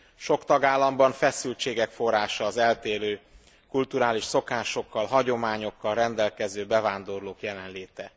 Sok tagállamban feszültségek forrása az eltérő kulturális szokásokkal, hagyományokkal rendelkező bevándorlók jelenléte.